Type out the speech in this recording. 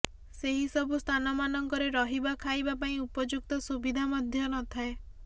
ସେହିସବୁ ସ୍ଥାନମାନଙ୍କରେ ରହିବା ଖାଇବା ପାଇଁ ଉପଯୁକ୍ତ ସୁବିଧା ମଧ୍ୟ ନଥାଏ